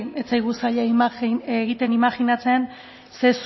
ez zaigu zaila egiten imajinatzen zer